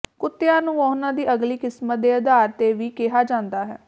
ਕੁੱਤਿਆਂ ਨੂੰ ਉਹਨਾਂ ਦੀ ਅਗਲੀ ਕਿਸਮਤ ਦੇ ਅਧਾਰ ਤੇ ਵੀ ਕਿਹਾ ਜਾਂਦਾ ਹੈ